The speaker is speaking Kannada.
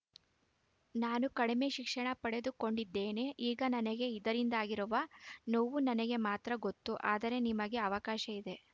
ನಾನು ಕಡಿಮೆ ಶಿಕ್ಷಣ ಪಡೆದು ಕೊಂಡಿದ್ದೇನೆ ಈಗ ನನಗೆ ಇದರಿಂದಾಗಿರುವ ನೋವು ನನಗೆ ಮಾತ್ರ ಗೊತ್ತು ಆದರೆ ನಿಮಗೆ ಅವಕಾಶ ಇದೆ